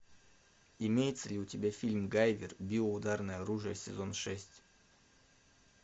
имеется ли у тебя фильм гайвер био ударное оружие сезон шесть